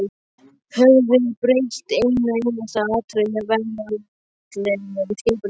Höfum við breytt einu einasta atriði í veraldlegu skipulagi þeirra?